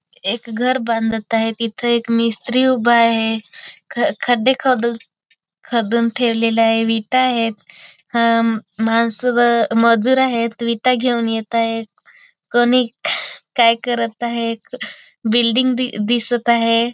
एक घर बांधत आहे तिथं एक मिस्त्री उभा आहे ख खड्डे खोंदुण खदुण ठेवलेले आहे विटा आहेत हम मानस व मजुर आहेत विटा घेऊन येताएत कमी काय करत आहे बिल्डिंग दिसत आहे.